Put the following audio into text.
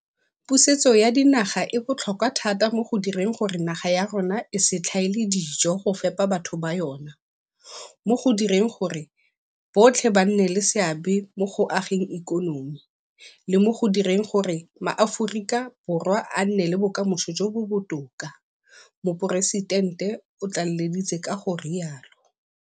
Pusetso ya dinaga e botlhokwa thata mo go direng gore naga ya rona e se tlhaele dijo go fepa batho ba yona, mo go direng gore botlhe ba nne le seabe mo go ageng ikonomi, le mo go direng gore maAforika Borwa a nne le bokamoso jo bo botoka, Moporesitente o tlaleleditse ka go rialo.